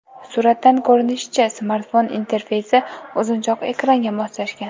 Suratdan ko‘rinishicha, smartfon interfeysi uzunchoq ekranga moslashgan.